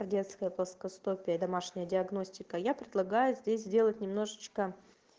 детское плоскостопие домашняя диагностика я предлагаю здесь сделать немножечко